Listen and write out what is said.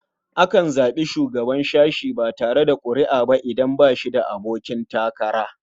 Za a iya zaɓar shugaban sashe ba tare da ƙuri'a ba idan ba shi da abokin takara.